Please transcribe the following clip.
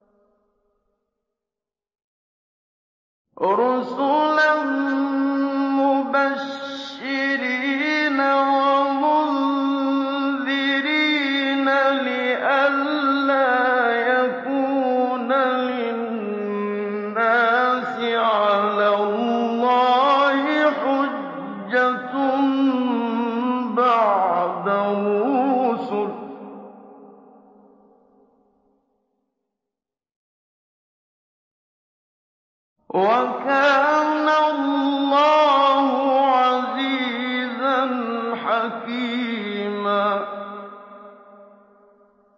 رُّسُلًا مُّبَشِّرِينَ وَمُنذِرِينَ لِئَلَّا يَكُونَ لِلنَّاسِ عَلَى اللَّهِ حُجَّةٌ بَعْدَ الرُّسُلِ ۚ وَكَانَ اللَّهُ عَزِيزًا حَكِيمًا